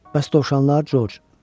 Bəs dovşanlar, Corc?